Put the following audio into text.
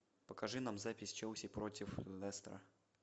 покажи нам запись челси против лестера